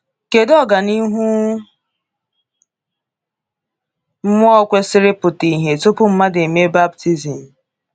Kedu ọganihu mmụọ kwesịrị ịpụta ìhè tupu mmadụ emee baptizim?